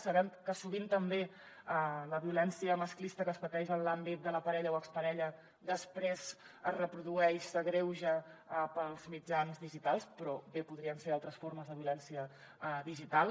sabem que sovint també la violència masclista que es pateix en l’àmbit de la parella o exparella després es reprodueix s’agreuja pels mitjans digitals però bé podrien ser altres formes de violència digital